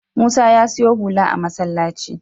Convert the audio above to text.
Musa ya siyo hula a masallacin.